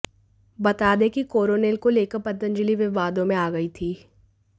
बता दें कि कोरोनिल को लेकर पंतजलि विवादों में आ गई थी